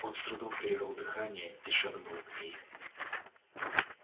он с трудом перевёл дыхание и шагнул к ней